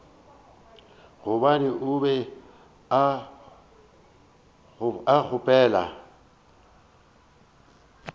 gobane o be a gopola